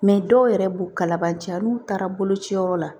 dɔw yɛrɛ b'u kalaban ja n'u taara bolociyɔrɔ la